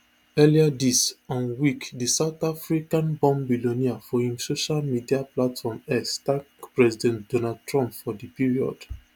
earlier dis um week di south africanborn billionaire for im social media platform x thank president donald trump for di period